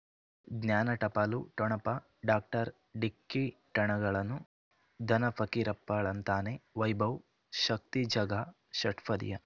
ಜ್ಞಾನ ಟಪಾಲು ಠೊಣಪ ಡಾಕ್ಟರ್ ಢಿಕ್ಕಿ ಣಗಳನು ಧನ ಫಕೀರಪ್ಪ ಳಂತಾನೆ ವೈಭವ್ ಶಕ್ತಿ ಝಗಾ ಷಟ್ಪದಿಯ